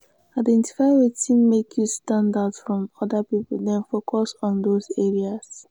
identify wetin make you stand out from oda pipo then focus on those areas